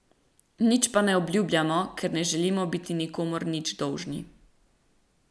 Nič pa ne obljubljamo, ker ne želimo biti nikomur nič dolžni.